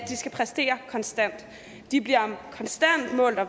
skal præstere konstant de bliver konstant målt og